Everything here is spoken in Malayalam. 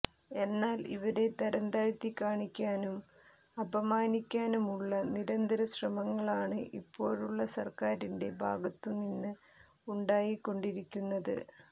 എന്നാൽ ഇവരെ തരംതാഴ്ത്തി കാണിക്കാനും അപമാനിക്കാനുമുള്ള നിരന്തര ശ്രമങ്ങളാണ് ഇപ്പോഴുള്ള സർക്കാരിൻറെ ഭാഗത്തു നിന്ന് ഉണ്ടായിക്കൊണ്ടിരിക്കുന്നത്